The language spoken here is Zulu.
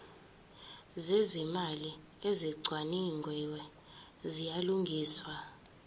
zezimali ezicwaningiwe ziyalungiswa